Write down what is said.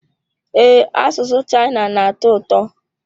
Ee, asụsụ China na-atọ ụtọ.